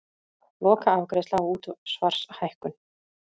Lokaafgreiðsla á útsvarshækkun